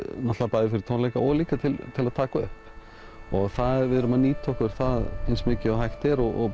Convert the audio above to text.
bæði fyrir tónleika og líka til til að taka upp við erum að nýta okkur það eins mikið og hægt er og